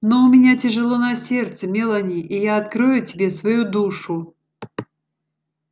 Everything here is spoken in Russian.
но у меня тяжело на сердце мелани и я открою тебе свою душу